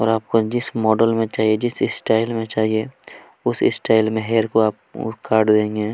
और आपको जिस मॉडल में चाहिए जिस स्टाइल में चाहिए उस स्टाइल में हैयर को आप काट देंगे --